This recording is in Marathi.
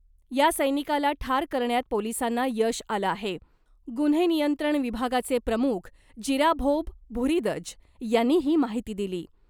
या सैनिकाला ठार करण्यात पोलिसांना यश आलं आहे. गुन्हे नियंत्रण विभागाचे प्रमुख जिराभोब भुरीदज यांनी ही माहिती दिली.